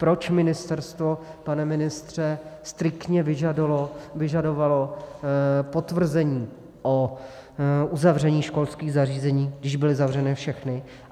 Proč ministerstvo, pane ministře, striktně vyžadovalo potvrzení o uzavření školských zařízení, když byly zavřeny všechny.